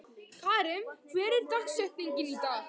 Karim, hver er dagsetningin í dag?